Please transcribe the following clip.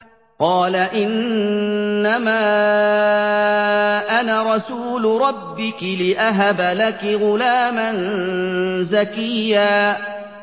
قَالَ إِنَّمَا أَنَا رَسُولُ رَبِّكِ لِأَهَبَ لَكِ غُلَامًا زَكِيًّا